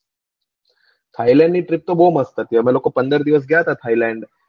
થાયલેન્ડની trip તો બવ જ મસ્ત હતી અમે લોકો પંદર દિવસ ગયા તા થાયલેન્ડ